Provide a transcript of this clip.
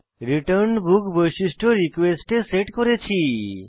return book বৈশিষ্ট্য request এ set করেছি